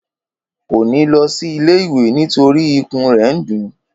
Kò ní lọsí ilé ìwé nítorí ikùn rè n dún